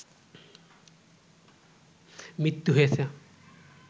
মৃত্যু হয়েছে